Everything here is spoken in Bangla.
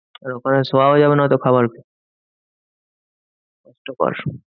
আর ওখানে শোয়াও যাবে না হয়তো খাবারখেয়ে।